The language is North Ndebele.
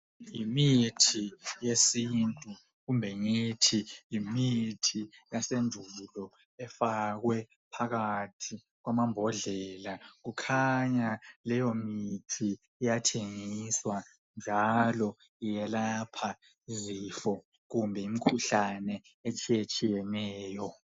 Yimithi yesintu kumbe ngithi yimithi yasendulo efakwe phakathi kwamambodlela kukhanya leyo mithi iyathengiswa njalo ngelapha izifo kumbe imkhuhlane etshiyetshiyeneyo.